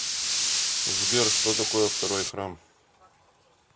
сбер что такое второй храм